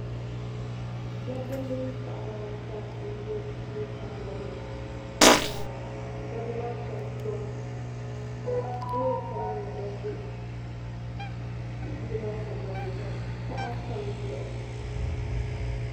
Dabba mini paɣaba ata n-ʒe duu sambanni ka dabba maa shɛba kurim ka loori sabinli gba ʒe yili maa sambanni ka taha tam dizuɣu.